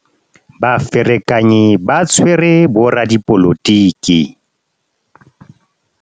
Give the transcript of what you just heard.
baferekanyi ba tshwere boradipolotiki